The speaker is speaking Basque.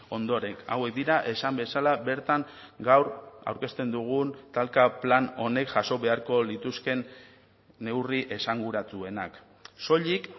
ondoren hauek dira esan bezala bertan gaur aurkezten dugun talka plan honek jaso beharko lituzkeen neurri esanguratsuenak soilik